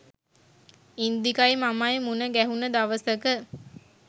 ඉන්දිකයි මමයි මුණ ගැහුන දවසක